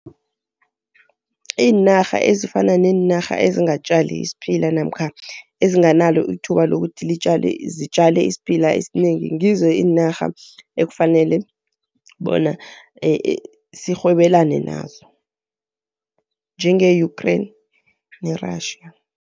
Iinarha ezifana neenarha ezingatjali isiphila namkha ezinganalo ithuba lokuthi zitjale isiphila esinengi, ngizo iinarha ekufanele bona sirhwebelane nazo, njenge-Ukriane ne-Russia.